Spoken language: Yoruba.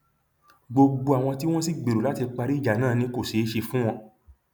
gbogbo àwọn tí wọn sì gbèrò láti parí ìjà náà ni kò ṣeé ṣe fún wọn